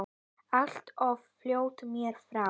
Allt of fljótt mér frá.